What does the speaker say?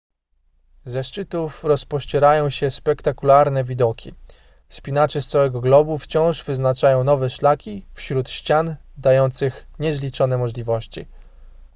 ze szczytów rozpościerają się spektakularne widoki wspinacze z całego globu wciąż wyznaczają nowe szlaki wśród ścian dających niezliczone możliwości